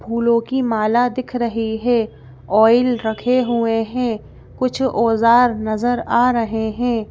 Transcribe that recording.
फूलों की माला दिख रही है ऑयल रखे हुए हैं कुछ औजार नजर आ रहे हैं।